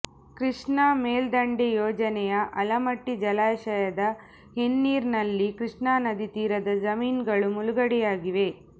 ಕೃಷ್ಣಾ ಮೇಲ್ದಂಡೆ ಯೋಜನೆಯ ಆಲಮಟ್ಟಿ ಜಲಾಶಯದ ಹಿನ್ನೀರಿನಲ್ಲಿ ಕೃಷ್ಣಾ ನದಿ ತೀರದ ಜಮೀನುಗಳು ಮುಳುಗಡೆಯಾಗಿವೆ